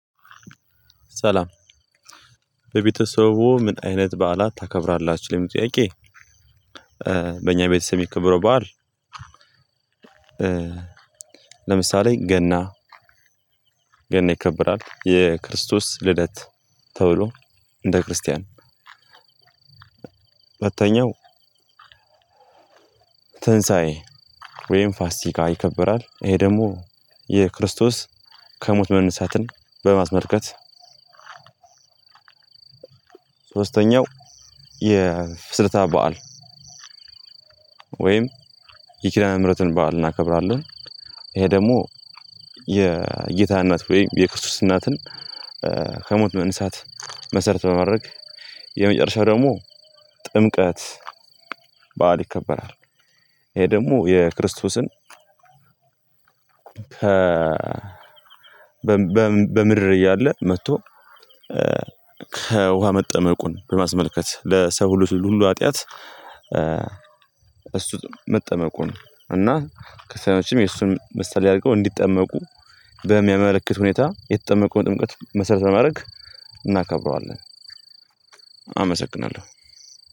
ሰላም በቤተሰቦ ምን አይነት በዓላት ታከብራላችሁ ለሚለው ጥያቄ? በእኛ ቤተሰብ የሚከበረው በዓል። ለምሳሌ ገና ገና ይከብራል የክርስቶስ ልደት ተብሎ እንደ ክርስቲያን። ሁለተኛው ተንሳዔ ወይም ፋሲካ ይከበራል ይሄ ደግሞ የክርስቶስ ከሞት መነሳትን በማስመልከት። ሶስተኛው የፍስርታ በዓል። ወይም የኪዳነ ምህረትን በዓል እናከብራለን። ይሄ ደግሞ የጌታ እናት ወይም የክርስቶስ እናትን ከሞት መንሳት መሰረት በማድረግ። የመጨረሻው ደግሞ ጥምቀት በዓል ይከበራል። ይሄ ደግሞ የክርስቶስን በምድር እያለ መጥቶ ከውሃ መጠመቁን በማስመልከት ለሰው ሁሉ ሁሉ ሀጥያት። እሱ መጠመቁን እና ከሰዎችም የሱን ምሳሌ አድርገው እንዲጠመቁ በሚያመለክት ሁኔታ እየተጠመቁ ጥምቀት መስራት ለማድረግ እናከብረዋለን። አመሰግናለሁ።